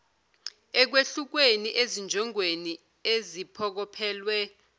ekwehlukeni ezinjongweni eziphokophelelwe